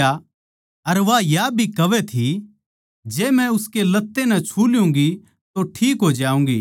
और वा या भी कहवै थी जै मै उसकै लत्ते नै छू ल्यूँगी तो ठीक हो जाऊँगी